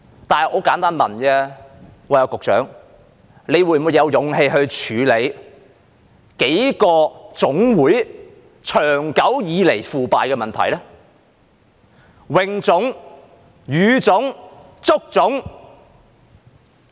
但是，很簡單地問：局長，你會否有勇氣處理幾個總會長久以來的腐敗問題呢？泳總、羽總、足總。